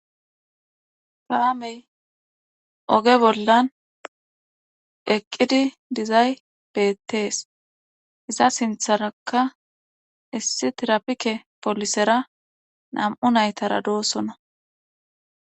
Paamey oge bollan eqqidi dizay beettees iza sintharaka issi tirapike polisera nam7u naytara doossona.